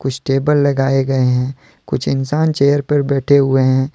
कुछ टेबल लगाए गए हैं कुछ इंसान चेयर पर बैठे हुए हैं।